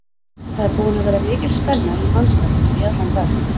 Það er búin að vera mikil spenna í mannskapnum í allan dag.